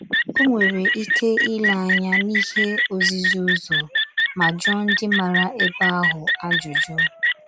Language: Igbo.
O nwere ike ile anya n'ihe ozizi ụzọ ma jụọ ndị maara ebe ahụ ajụjụ.